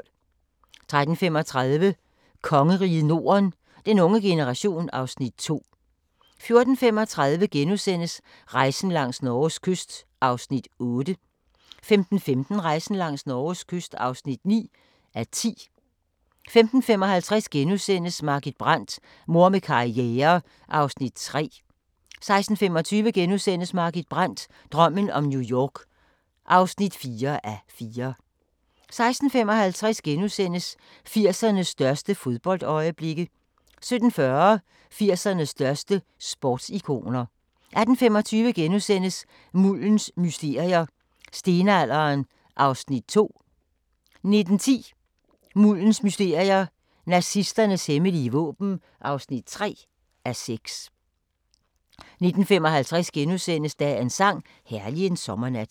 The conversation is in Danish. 13:35: Kongeriget Norden - den unge generation (Afs. 2) 14:35: Rejsen langs Norges kyst (8:10)* 15:15: Rejsen langs Norges kyst (9:10) 15:55: Margit Brandt – Mor med karriere (3:4)* 16:25: Margit Brandt – drømmen om New York (4:4)* 16:55: 80'ernes største fodboldøjeblikke * 17:40: 80'ernes største sportsikoner 18:25: Muldens mysterier – Stenalderen (2:6)* 19:10: Muldens mysterier – Nazisternes hemmelige våben (3:6) 19:55: Dagens sang: Herlig en sommernat *